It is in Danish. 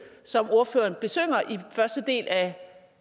som ordføreren besynger i den første del af